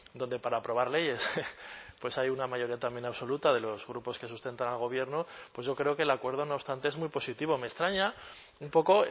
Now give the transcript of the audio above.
donde para aprobar leyes pues hay una mayoría también absoluta de los grupos que sustentan al gobierno pues yo creo que el acuerdo no obstante es muy positivo me extraña un poco